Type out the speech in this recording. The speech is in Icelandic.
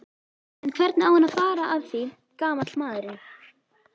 En hvernig á hann að fara að því gamall maðurinn?